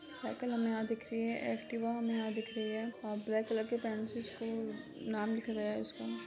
Cycle हमे यहां दिख रही है एक्टिवा हमे यहां दिख रही है और ब्लैक कलर की से नाम लिखा गया है इसका।